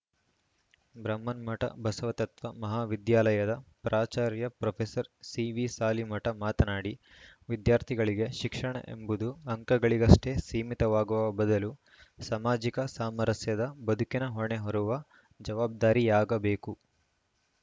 ಬೃಹನ್ಮಠ ಬಸವತತ್ವ ಮಹಾವಿದ್ಯಾಲಯದ ಪ್ರಾಚಾರ್ಯ ಪ್ರೊಫೆಸರ್ ಸಿವಿಸಾಲಿಮಠ ಮಾತನಾಡಿ ವಿದ್ಯಾರ್ಥಿಗಳಿಗೆ ಶಿಕ್ಷಣ ಎಂಬುದು ಅಂಕಗಳಿಗಷ್ಟೆಸೀಮಿತವಾಗುವ ಬದಲು ಸಾಮಾಜಿಕ ಸಾಮರಸ್ಯದ ಬದುಕಿನ ಹೊಣೆ ಹೊರುವ ಜವಾಬ್ದಾರಿಯಾಗಬೇಕು